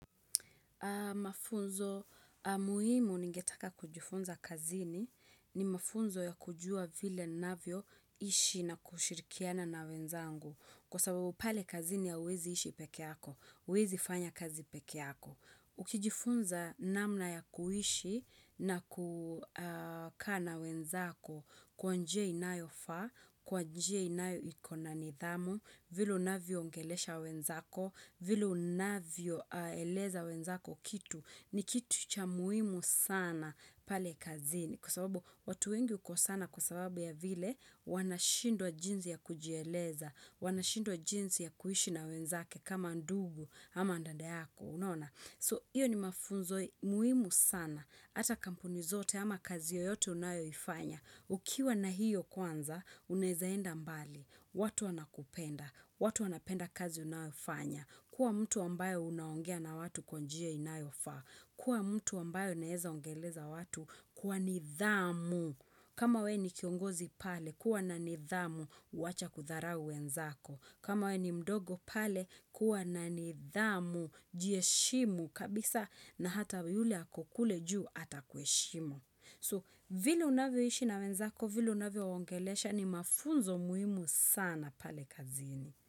Mafunzo muhimu ningetaka kujifunza kazini ni mafunzo ya kujua vile ninavyo ishi na kushirikiana na wenzangu. Kwa sababu pale kazini hauwezi ishi pekee yako, uwezi fanya kazi pekee yako. Ukijifunza namna ya kuishi na kukaa na wenzako kwanje inayofa, kwa njia inayo ikona nidhamu, vile unavyo ongelesha wenzako vile unavyo eleza wenzako kitu ni kitu cha muhimu sana pale kazini Kwa sababu watu wengi hukosana kwa sababu ya vile Wanashindwa jinzi ya kujieleza Wanashindwa jinzi ya kuhishi na wenzake kama ndugu ama dada yako unaona So iyo ni mafunzo muhimu sana Hata kampuni zote ama kazi yoyote unayo ifanya Ukiwa na hiyo kwanza unaezaenda mbali watu wana kupenda, watu wana penda kazi unayofanya Kua mtu ambayo unaongea na watu kwa njia inayofa Kua mtu ambayo uneeza ongeleza watu kuwa nithamu kama we ni kiongozi pale, kuwa na nithamu, wacha kutharau wenzako kama we ni mdogo pale, kuwa na nithamu, jiheshimu kabisa na hata yule ako kule juu atakueshimu So, vile unavyoishi na wenzako, vile unavyo waongelesha ni mafunzo muhimu sana pale kazini.